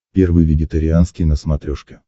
первый вегетарианский на смотрешке